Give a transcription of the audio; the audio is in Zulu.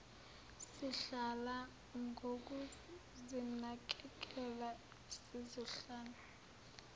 sihlala ngokuzinakekela sizohlala